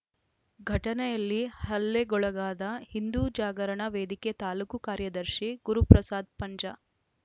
ಘಟನೆಯಲ್ಲಿ ಹಲ್ಲೆಗೊಳಗಾದ ಹಿಂದೂ ಜಾಗರಣ ವೇದಿಕೆ ತಾಲೂಕು ಕಾರ್ಯದರ್ಶಿ ಗುರುಪ್ರಸಾದ್‌ ಪಂಜ